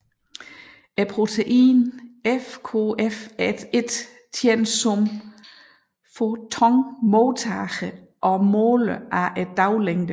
Proteinet FKF1 tjener som fotonmodtager og måler daglængden